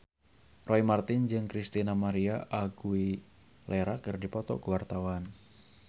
Roy Marten jeung Christina María Aguilera keur dipoto ku wartawan